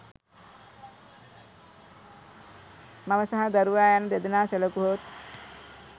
මව සහ දරුවා යන දෙදෙනා සැලකුවහොත්